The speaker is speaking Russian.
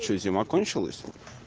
зима кончилась